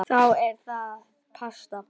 Þá er það pasta.